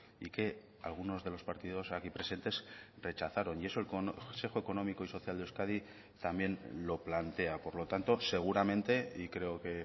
y que algunos de los partidos aquí presentes rechazaron y eso el consejo económico y social de euskadi también lo plantea por lo tanto seguramente y creo que